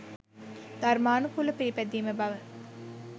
ධර්මානුකූලව පිළිපැදීම බව